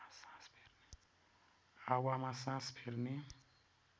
हावामा सास फेर्ने